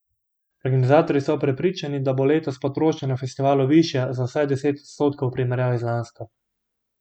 Organizatorji so prepričani, da bo letos potrošnja na festivalu višja za vsaj deset odstotkov v primerjavi z lansko.